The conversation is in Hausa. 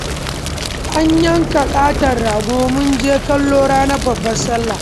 An yanka ƙaton rago mun je kallo ranar babbar sallah